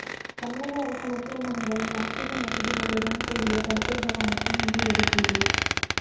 தமிழக அரசு மருத்துவமனைகளில் ஆக்சிஜன் வசதிகளுடன் கூடிய படுக்கைகள் அமைக்க நிதி ஒதுக்கீடு